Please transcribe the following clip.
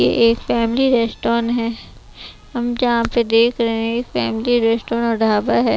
यह एक family restaurant है हम जहाँ पे देख रहे हैं फैमिली रेस्टोरन ढाबा है।